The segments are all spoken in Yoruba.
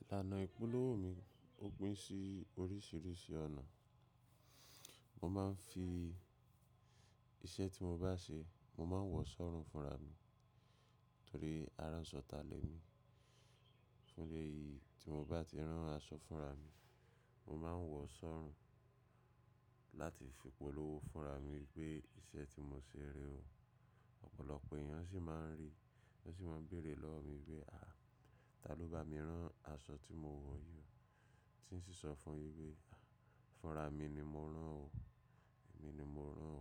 Ìlànà ìpolówó mi, ó pín sí oríṣìíríṣìí ọ̀nà. Mo máa ń fi iṣẹ́ tí mo bá ṣe, mo máa ń wọ̀ ọ́ sọ́run fúnra mi torí aránṣọtà le mi. Fún ìdí èyí tí mo bá ti rán aṣọ fúnra mi, mo máa ń wọ̀ ọ́ sọ́run láti fi polówó fúnra mi pé iṣẹ́ tí mo ṣe rèé o. Ọ̀pọ̀lọpọ̀ èèyàn sì máa ń rí, wọ́n sì máa ń béèrè lọ́wọ́ mi wípé "à, tá ló bá mi rán aṣọ tí mo wọ̀ yìí?" Tí ń sì sọ fún-un wípé "fúnra mi ni mo rán o, èmi ni mo rán o.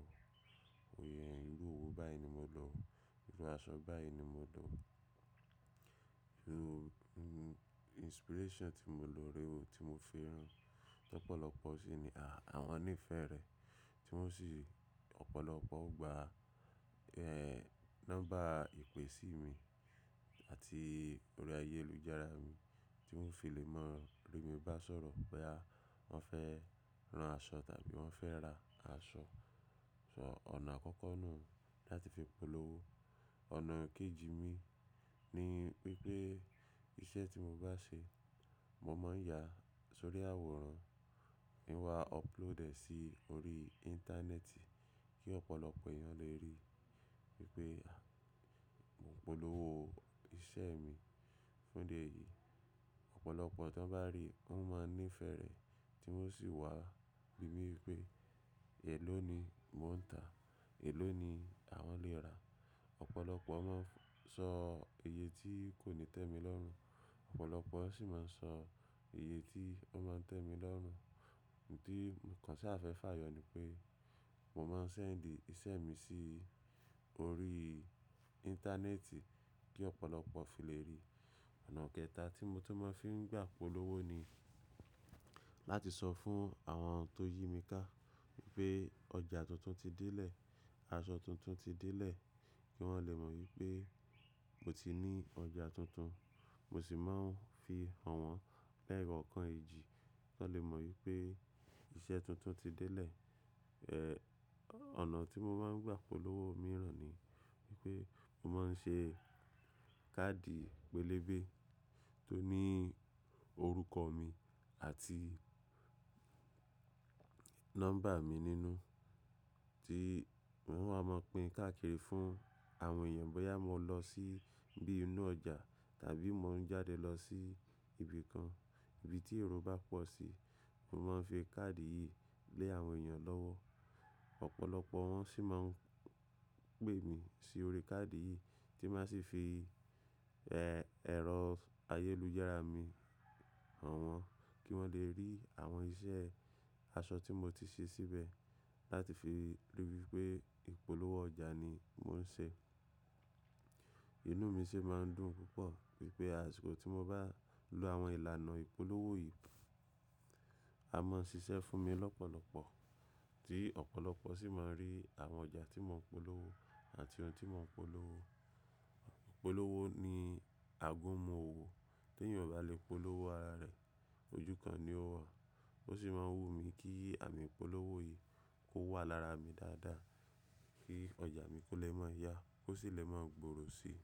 Oyè ìlú òwú báyi ni mo lọ, irun aṣọ báyi ni mo lọ, irun-- inspiration tí mo lò rẹ o, tí mo fi rán." Ọ̀pọ̀lọpọ̀ sì ni "à, àwọn ní ìfẹ́ rẹ" tí wọ́n sì ọ̀pọ̀lọpọ̀ gba, ehn, nọ́mbà ìpè sí mi àti orí ayélujára mi tí wọ́n fi lè mọ̀ rí mi bá sọ̀rọ̀ pé à, wọ́n fẹ́ rán aṣọ tàbí wọ́n fẹ́ ra aṣọ. Ṣo ọ̀nà àkọ́kọ́ nìhun láti fi polówó. Ọ̀nà kejì mi ni wípé iṣẹ́ tí mo bá ṣe, mo máa ń ya sórí àwòrán, ki wá upload ẹ sí orí íńtánẹ́ẹ̀tì kí ọ̀pọ̀lọpọ̀ èèyàn lè rí wípé à, mò ń polówó iṣẹ́ mi. Fún ìdí èyí, ọ̀pọ̀lọpọ̀ tí wọ́n bá rí, wọ́n máa ń ní ìfẹ́ rẹ̀ tí wọ́n sì wá bí mí pé èló ni mò ń tà, èló ni àwọn lè rà. Ọ̀pọ̀lọpọ̀ máa ń sọ iye tí kò ní tẹ́ mi lọ́rùn, ọ̀pọ̀lọpọ̀ sì máa ń sọ iye tí ó máa ń tẹ́ mi lọ́rùn. Ǹtí mo kàn sá fẹ́ fà yọ ní pé mo máa ń send iṣẹ́ mi sí orí íńtánẹ́ẹ̀tì kí ọ̀pọ̀lọpọ̀ fi lè rí. Ọ̀nà kẹta tí mo tún máa ń fi gbà polówó ni láti sọ fún àwọn tó yí mi ká wípé ọjà tuntun ti délé, aṣọ tuntun ti délé kí wọ́n lè mọ̀ wípé mo ti ní ọjà tuntun. Mo sì máa ń fi hàn wọ́n lẹ́yọ kànkan èjì kí wọ́n lè mọ̀ wípé iṣẹ́ tuntun ti délé. Ehn, ọ̀nà tí mo máa ń gbà polówó mìíràn ni wípé mo máa ń ṣe káàdì pélébé tó ní orúkọ mi àti nọ́mbà mi nínú tí mò ń máa pín káàkiri fún àwọn èèyàn bóyá mo lọ sí bí inú ọjà tàbí mò ń jáde lọ sí ibi kan, ibi tí èrò bá pọ̀ sí, mò ń máa ń fi káàdì yìí lé àwọn èèyàn lọ́wọ́. Ọ̀pọ̀lọpọ̀ wọn sì máa ń pè mí sí orí káàdì yìí tí màá sì fi, ehn, ẹ̀rọ ayélujára mi hàn wọ́n kí wọ́n lè rí àwọn iṣẹ́ aṣọ tí mo ti ṣe síbẹ̀ láti fi ríi wípé ìpolówó ọjà ni mò ń ṣe. Ìnú mi sì máa ń dùn púpọ̀ wípé àsìkò tí mo bá lo àwọn ìlànà ìpolówó yìí, a máa ń ṣiṣẹ́ fún mi lọ́pọ̀lọpọ̀ tí ọ̀pọ̀lọpọ̀ sì máa ń rí àwọn ọjà tí mò ń polówó àti ohun tí mò ń polówó. Ìpolówó ni àgúnmu òwò, tí èèyàn ò bá lè polówó ara rẹ̀, ojúkan ni ó wà. Ó sì máa ń wù mí kí àmì ìpolówó yìí kó wà lára mi dáadáa kí ọjà mi kó lè máa yá, ó sì lè máa gbòòrò sí i.